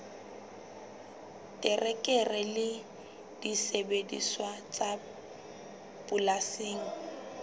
terekere le disebediswa tsa polasing